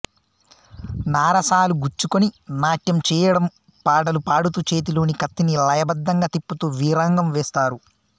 నారసాలు గుచ్చుకుని నాట్యం చేయ డం పాటలు పాడుతూ చేతిలోని కత్తిని లయబద్దంగా తిప్పుతూ వీరంగం వేస్తారు